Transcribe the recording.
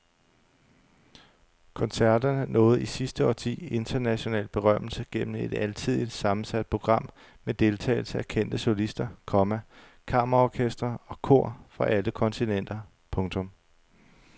Koncerterne nåede i sidste årti international berømmelse gennem et alsidigt sammensat program med deltagelse af kendte solister, komma kammerorkestre og kor fra alle kontinenter. punktum